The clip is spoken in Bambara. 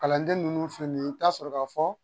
Kalanden ninnu filɛ nin ye i bɛ taa sɔrɔ ka fɔ